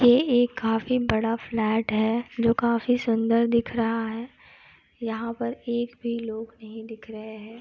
ये एक काफी बड़ा फ्लैट है जो काफी सुंदर दिख रहा है। यहां पर एक भी लोग नहीं दिख रहे हैं।